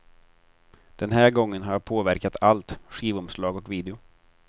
Den här gången har jag påverkat allt, skivomslag och video.